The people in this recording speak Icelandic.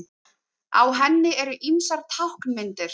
Á henni eru ýmsar táknmyndir.